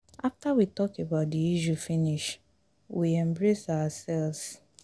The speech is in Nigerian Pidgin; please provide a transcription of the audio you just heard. after we talk about the issue finish we embrace ourselves